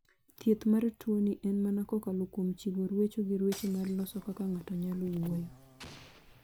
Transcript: Thieth mar tuo ni en mana kokalo kuom chiwo ruecho gi ruecho ma loso kaka ng'ato nyalo wuoyo